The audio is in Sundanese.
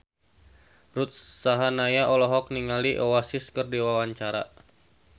Ruth Sahanaya olohok ningali Oasis keur diwawancara